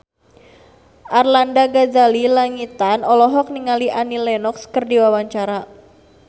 Arlanda Ghazali Langitan olohok ningali Annie Lenox keur diwawancara